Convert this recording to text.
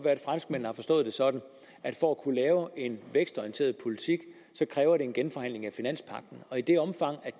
at franskmændene har forstået det sådan at for at kunne lave en vækstorienteret politik kræver det en genforhandling af finanspagten i det omfang